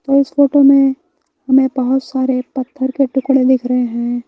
इस फोटो में हमें बहुत सारे पत्थर के टुकड़े दिख रहे हैं।